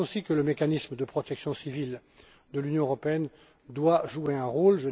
Je pense aussi que le mécanisme de protection civile de l'Union européenne doit jouer un